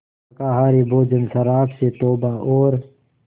शाकाहारी भोजन शराब से तौबा और